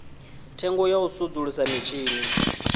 thengo ya u sudzulusa mitshini